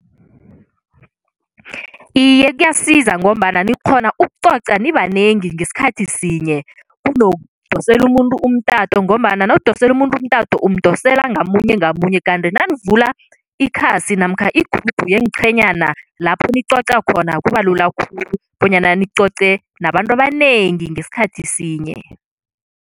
Iye, kuyasiza ngombana nikghona ukucoca nibanengi ngesikhathi sinye kunokudosela umuntu umtato ngombana nawudosele umuntu umtato umdosela ngamunye ngamunye kanti nanivula ikhasi namkha igrubhu yeenqhenyana lapho nicoca khona kuba lula khulu bonyana nicoce nabantu abanengi ngesikhathi sinye.